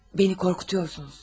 Məni qorxuduyorsunuz.